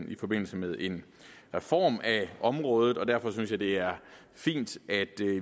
i forbindelse med en reform af området og derfor synes jeg det er fint at